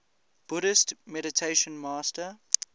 buddhist meditation master